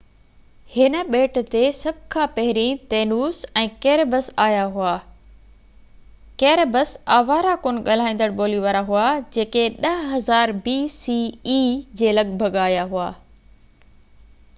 هن ٻيٽ تي سڀ کان پهرين تينوس ۽ ڪيريبس آباد هئا ڪيريبس آراواڪن ڳالهائيندڙ ٻولي وارا هئا جيڪي 10,000 bce جي لڳ ڀڳ آيا هئا